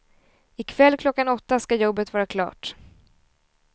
I kväll klockan åtta ska jobbet vara klart.